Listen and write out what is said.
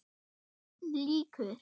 BÖRN LÝKUR